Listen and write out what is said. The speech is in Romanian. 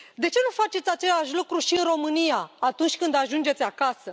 De ce nu faceți același lucru și în România, atunci când ajungeți acasă?